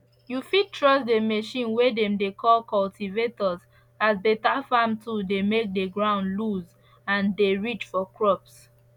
you fit trust the machine way dem dey call cultivator as beta farm tool to make the ground loose and dey rich for crops